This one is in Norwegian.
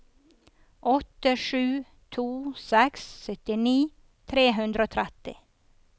åtte sju to seks syttini tre hundre og tretti